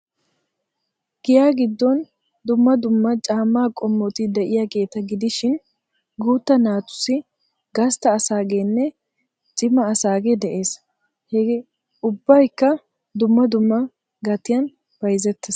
Giyaa giddon dumma dumma caammaa qommoti de'iyageeta gidishin guutta naatussi, gastta asaageenne cima asaagee de'ees. He ubbaykka dumma dumma gatiyan bayzettees.